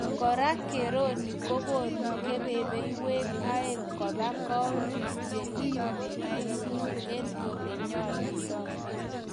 kora, keroni kogoni kebebewek aeng' kopa kaontis che iyumi aisuruut en ole nyalundo